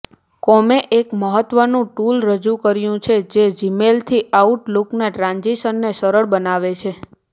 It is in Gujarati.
કોમે એક મહત્વનું ટૂલ રજૂ કર્યું છે જે જીમેલથી આઉટલૂકના ટ્રાન્ઝિશનને સરળ બનાવે છે